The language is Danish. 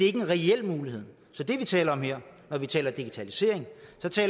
er en reel mulighed så det vi taler om her når vi taler digitalisering